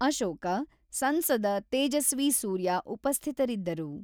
ಅಶೋಕ, ಸಂಸದ ತೇಜಸ್ವಿ ಸೂರ್ಯ ಉಪಸ್ಥಿತರಿದ್ದರು.